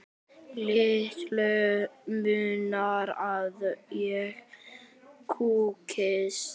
Litlu munar að ég kúgist.